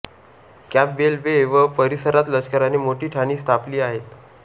Campbell Bay व परीसरात लष्कराने मोठी ठाणी स्थापली आहेत